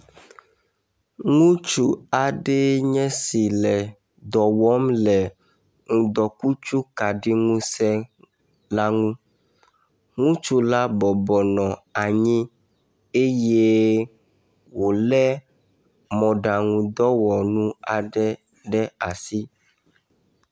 Ŋutsu aɖee nye esi le dɔm wɔm, le ŋudɔkutsu kaɖi ŋusẽ la ŋu. Ŋutsu la bɔbɔ nɔ anyi eye wòlé mɔɖaŋu ŋudɔwɔnu aɖe ɖe asi.